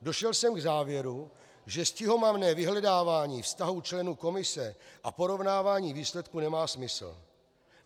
Došel jsem k závěru, že stihomamné vyhledávání vztahů členů komise a porovnávání výsledků nemá smysl.